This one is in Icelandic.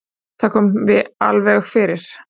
Það kom alveg fyrir.